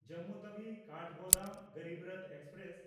Jammu ᱛᱟᱣᱤ–ᱠᱟᱴᱷᱜᱳᱫᱟᱢ Garib Rath express